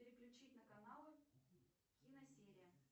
переключить на каналы киносерия